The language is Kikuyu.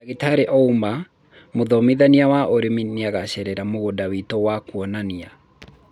ndagĩtari Ouma, mũthomithania wa ũrimi nĩangacerera mũgũnda witũ wa kũonania